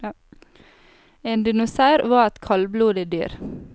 En dinosaur var et kablodig dyr.